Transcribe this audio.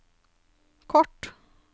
kort